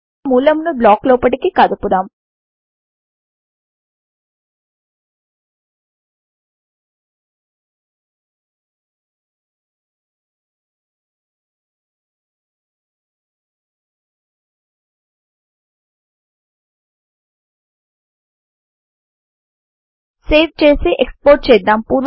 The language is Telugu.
ఇక మూలమును బ్లాక్ లోపటికి కదుపుదాం సేవ్ చేసి ఎక్స్పోర్ట్ చేద్దాం